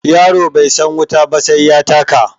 Yaro bai san wuta ba sai ya taka